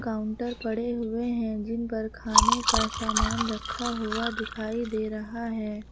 Counter पड़े हुए हैं जिन पर खाने का सामान रखा हुआ दिखाई दे रहा है।